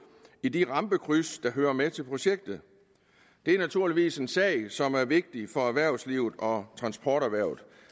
i de rampekryds der hører med til projektet det er naturligvis en sag som er vigtig for erhvervslivet og transporterhvervet